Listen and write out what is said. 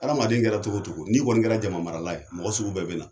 Adamaden kɛra cogocogo n'i kɔni kɛra jama marala ye mɔgɔ sugu bɛɛ lajɛlen bɛɛ bena